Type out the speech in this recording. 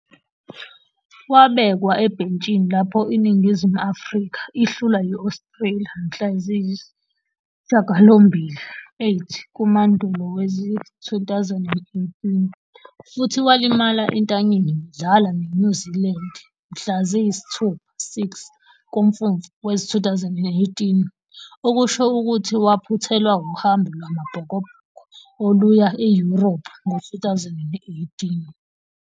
Wabekwa ebhentshini lapho iNingizimu Afrika ihlulwa yi-Australia mhla ziyisi-8 kuMandulo wezi-2018, futhi walimala entanyeni bedlala ne-New Zealand mhla ziyisi-6 kuMfumfu wezi-2018, okusho ukuthi waphuthelwa uhambo lwamaBhokobhoko oluya e-Europe ngo-2018.